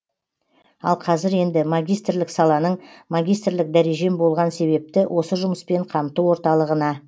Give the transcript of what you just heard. ал қазір енді магистрлік саланың магистрлік дәрежем болған себепті осы жұмыспен қамту орталығына